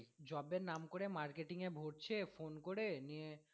job এর নাম করে marketing এ ভরছে phone করে নিয়ে